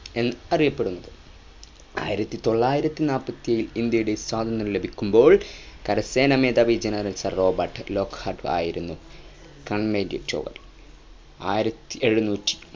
എന്ന് അറിയപ്പെടുന്നത് ആയിരത്തി തൊള്ളായിരത്തി നാപ്പത്തിഏഴിൽ ഇന്ത്യയുടെ സ്വാതന്ത്ര്യം ലഭിക്കുമ്പോൾ കര സേന മേധാവി general sir റോബർട്ട് ലോക്ഹാർട്ട് ആയിരുന്ന